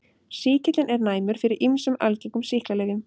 Sýkillinn er næmur fyrir ýmsum algengum sýklalyfjum.